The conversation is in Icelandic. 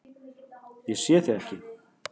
Ég sé þig ekki.